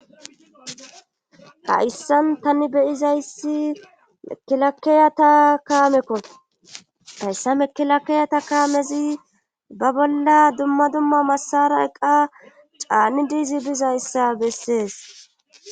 Hayssan tani beyizayssi mekilakeyata kaamekko hayssa mekilakeyata kaamezi ba bolla dumma dumma massara eqa caanidizi bizayssa bessees.